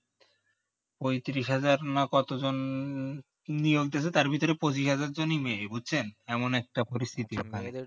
পঁয়ত্রিশ হাজার না কত জন আহ নিয়োগ করে তার ভিতরে পঁচিশ হাজার জনই মেয়ে বুঝছেন এমন একটা পরিস্থিতি